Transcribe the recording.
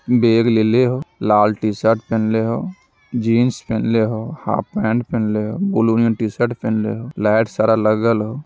Bag लेले हो लाल तशईरट पहनले ले हो जीन्स पहेनले ले हो हाफ पेन्ट लेओ ब्लू ने तशीरत पहेन ले हो लेट सारे लगल हो।